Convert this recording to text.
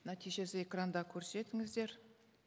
нәтижесін экранда көрсетіңіздер